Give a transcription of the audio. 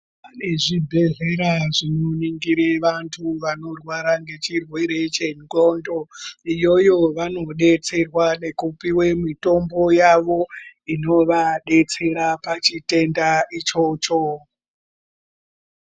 Pane zvibhedhlera zvinoningire vantu vanorwara ngechirwere chendxondo. Iyoyo vanodetserwa nekupiwe mitombo yavo inovadetsera pachitenda ichocho.